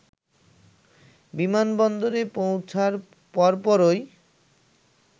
বিমানবন্দরে পৌঁছার পরপরই